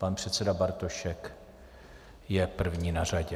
Pan předseda Bartošek je první na řadě.